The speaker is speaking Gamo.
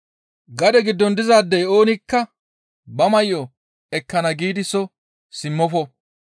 Gade giddon dizaadey oonikka ba may7o ekkana giidi soo simmofo.